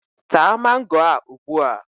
Taa mango a ugbua!